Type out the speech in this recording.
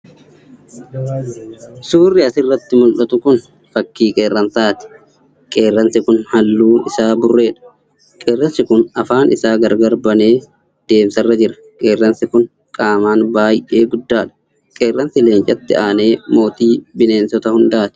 Suurri asirratti mul'atu Kun fakkii qeeransaati. Qirrensi kun halluun isaa burreedha. Qeerransi kun afaan isaa gargar banee deemsarra jira. Qeerransi kun qaaman baay'ee guddaadha. Qeerransi leencatti aanee mootii bineensota hundaati.